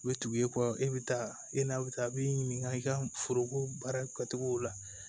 U bɛ tugu i kɔ e bɛ taa e n'a bɛ taa a b'i ɲininka i ka foroko baara kɛcogo la